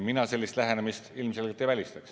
Mina sellist lähenemist ilmselgelt ei välista.